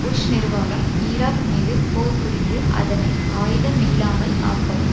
push நிர்வாகம் Iraq மீது போர் புரிந்து அதனை ஆயுதமில்லாமல் ஆக்கவும்